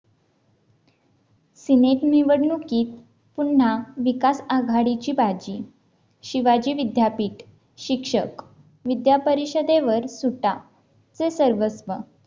Senate निवडणुकीत पुन्हा विकास आघाडीची बाजी शिवाजी विद्यापीठ शिक्षक विद्या परिषदेवर सुद्धा ते सर्वस्व